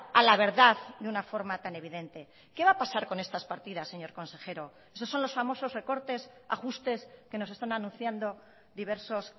a la verdad de una forma tan evidente qué va a pasar con estas partidas señor consejero esos son los famosos recortes ajustes que nos están anunciando diversos